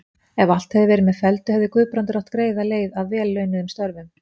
Ef allt hefði verið með felldu, hefði Guðbrandur átt greiða leið að vel launuðum störfum.